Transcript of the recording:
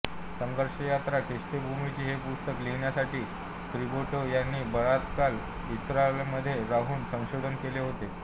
संघर्षयात्रा ख्रिस्तभूमीची हे पुस्तक लिहिण्यासाठी दिब्रिटो यांनी बराच काळ इस्रायलमध्ये राहून संशोधन केले होते